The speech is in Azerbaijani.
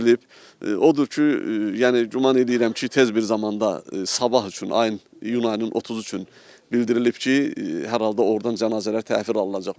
Odur ki, yəni güman eləyirəm ki, tez bir zamanda sabah üçün ayın iyun ayının 30-u üçün bildirilib ki, hər halda ordan cənazələr təhvil alınacaq.